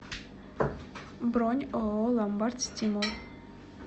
бронь ооо ломбард стимул